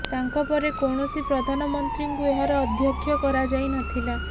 ତାଙ୍କ ପରେ କୌଣସି ପ୍ରଧାନମନ୍ତ୍ରୀଙ୍କୁ ଏହାର ଅଧ୍ୟକ୍ଷ କରାଯାଇ ନଥିଲା